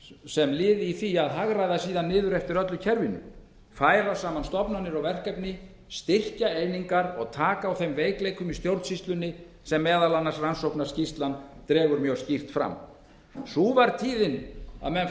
sem er liður í því að hagræða niður eftir öllu kerfinu færa saman stofnanir og verkefni styrkja einingar og taka á þeim veikleikum í stjórnsýslunni sem meðal annars rannsóknarskýrslan dregur mjög skýrt fram sú var tíðin að menn